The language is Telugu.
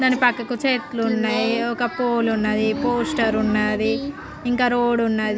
దాని పక్కకు చెట్లున్నాయి. ఒక పోల్ ఉన్నది. పోస్టర్ ఉన్నాది. ఇంకా రోడ్డు ఉన్నది.